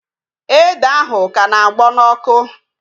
Ede ahụ ka na-agbọ n'ọkụ